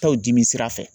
Taaw dimi sira fɛ